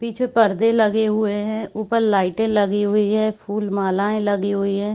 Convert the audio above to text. पीछे पर्दे लगे हुए है ऊपर लाइटे लगी हुई है फूल मालाये लगी हुई है।